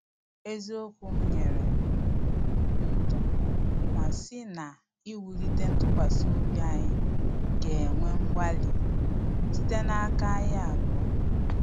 Eziokwu m nyere ya obi uto ma sị na sị na iwulite ntụkwasị obi anyi ga-ewe mgbalị site n’aka anyị abụọ